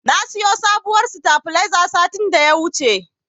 Na siyo sabuwar sitabiliza satin da ya wuce.